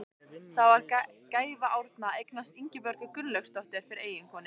Það var gæfa Árna að eignast Ingibjörgu Gunnlaugsdóttur fyrir eiginkonu.